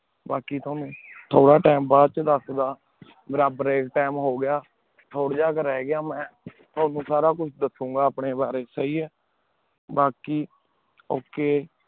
ਬਾਕੀ ਤੁਹਾਨੂ ਥੋਰਾ ਟੀਮ ਬਾਅਦ ਚੋਣ ਦਸਦਾ ਬਰਾਬਰ ਏਇਕ ਟੀਮ ਹੋਗਯਾ ਥੋਰਾ ਜੇਯ ਕੁ ਰਹ ਗਯਾ ਮੈਂ ਤੁਆਨੁ ਸਾਰਾ ਕੁਛ ਦਾਸੁ ਗਾ ਅਪਨੇ ਬਾਰੇ ਸੀ ਆਯ